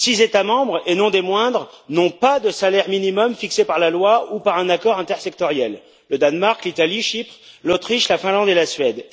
Six États membres, et non des moindres, n'ont pas de salaire minimum fixé par la loi ou par un accord intersectoriel le Danemark, l'Italie, Chypre, l'Autriche, la Finlande et la Suède.